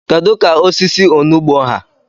kedu ka osisi onugbo ha?